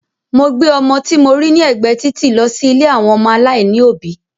Mo gbé ọmọ tí mo rí ní ẹgbẹ́ títì lọ sí ilé àwọn ọmọ aláìní òbí